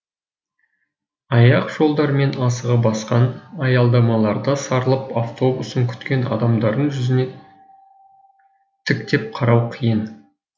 аяқ жолдармен асыға басқан аялдамаларда сарылып автобусын күткен адамдардың жүзіне тіктеп қарау қиын